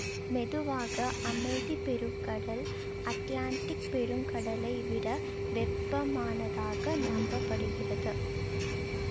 பொதுவாக அமைதி பெருங்கடல் அட்லாண்டிக் பெருங்கடலை விட வெப்பமானதாக நம்ப படுகிறது